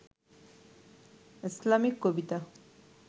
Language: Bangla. ইসলামিক কবিতা